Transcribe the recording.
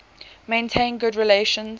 maintained good relations